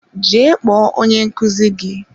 Jee kpọọ onye nkuzi gị!